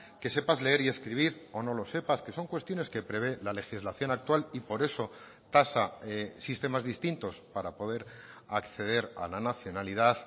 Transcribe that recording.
que sepas leer y escribir o no lo sepas que son cuestiones que prevé la legislación actual y por eso tasa sistemas distintos para poder acceder a la nacionalidad